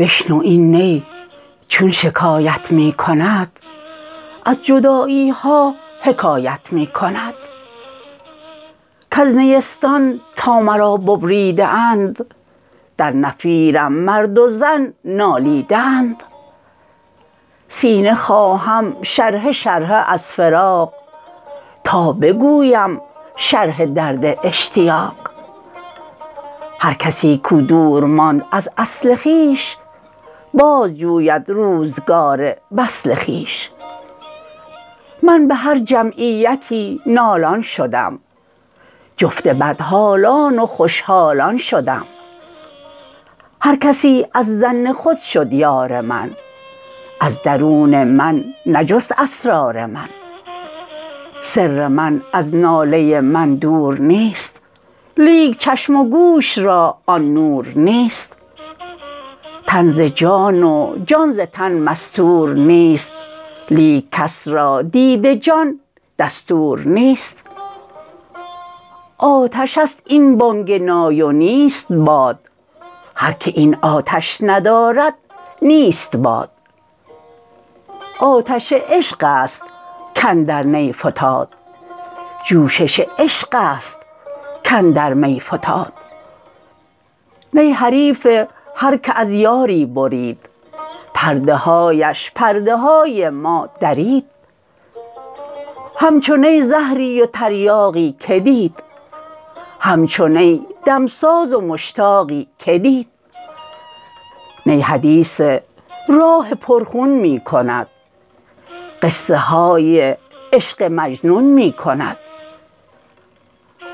بشنو این نی چون شکایت می کند از جدایی ها حکایت می کند کز نیستان تا مرا ببریده اند در نفیرم مرد و زن نالیده اند سینه خواهم شرحه شرحه از فراق تا بگویم شرح درد اشتیاق هر کسی کو دور ماند از اصل خویش باز جوید روزگار وصل خویش من به هر جمعیتی نالان شدم جفت بدحالان و خوش حالان شدم هر کسی از ظن خود شد یار من از درون من نجست اسرار من سر من از ناله من دور نیست لیک چشم و گوش را آن نور نیست تن ز جان و جان ز تن مستور نیست لیک کس را دید جان دستور نیست آتش است این بانگ نای و نیست باد هر که این آتش ندارد نیست باد آتش عشق است کاندر نی فتاد جوشش عشق است کاندر می فتاد نی حریف هر که از یاری برید پرده هایش پرده های ما درید همچو نی زهری و تریاقی که دید همچو نی دمساز و مشتاقی که دید نی حدیث راه پر خون می کند قصه های عشق مجنون می کند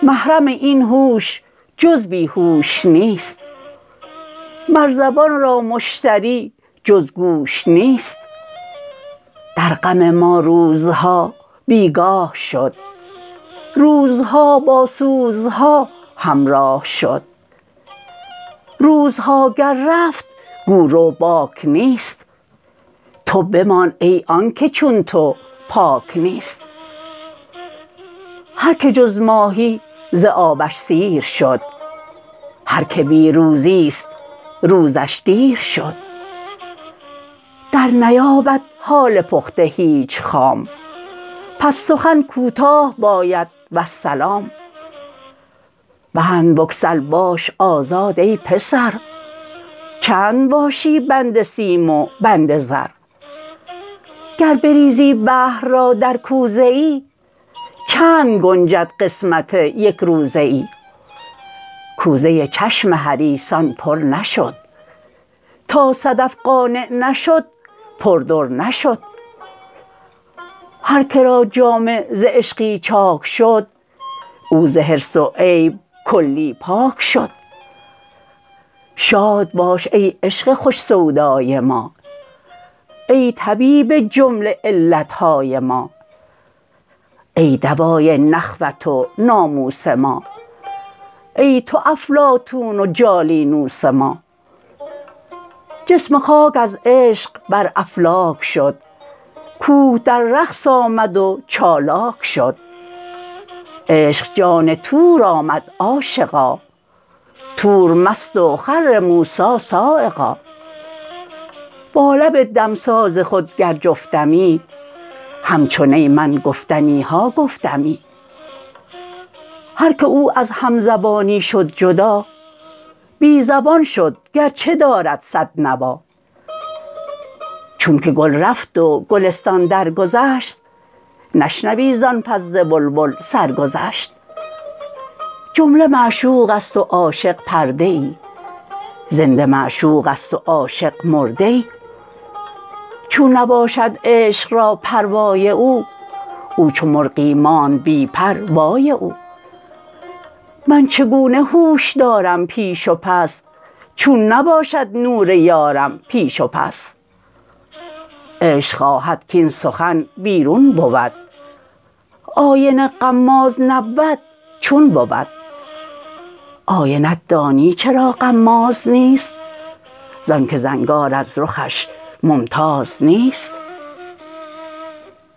محرم این هوش جز بی هوش نیست مر زبان را مشتری جز گوش نیست در غم ما روزها بیگاه شد روزها با سوزها همراه شد روزها گر رفت گو رو باک نیست تو بمان ای آنکه چون تو پاک نیست هر که جز ماهی ز آبش سیر شد هر که بی روزی ست روزش دیر شد در نیابد حال پخته هیچ خام پس سخن کوتاه باید والسلام بند بگسل باش آزاد ای پسر چند باشی بند سیم و بند زر گر بریزی بحر را در کوزه ای چند گنجد قسمت یک روزه ای کوزه چشم حریصان پر نشد تا صدف قانع نشد پر در نشد هر که را جامه ز عشقی چاک شد او ز حرص و عیب کلی پاک شد شاد باش ای عشق خوش سودای ما ای طبیب جمله علت های ما ای دوای نخوت و ناموس ما ای تو افلاطون و جالینوس ما جسم خاک از عشق بر افلاک شد کوه در رقص آمد و چالاک شد عشق جان طور آمد عاشقا طور مست و خر موسیٰ‏ صعقا با لب دمساز خود گر جفتمی همچو نی من گفتنی ها گفتمی هر که او از هم زبانی شد جدا بی زبان شد گر چه دارد صد نوا چون که گل رفت و گلستان درگذشت نشنوی زآن پس ز بلبل سرگذشت جمله معشوق است و عاشق پرده ای زنده معشوق است و عاشق مرده ای چون نباشد عشق را پروای او او چو مرغی ماند بی پر وای او من چگونه هوش دارم پیش و پس چون نباشد نور یارم پیش و پس عشق خواهد کاین سخن بیرون بود آینه غماز نبود چون بود آینه ت دانی چرا غماز نیست زآن که زنگار از رخش ممتاز نیست